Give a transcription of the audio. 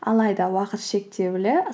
алайда уақыт шектеулі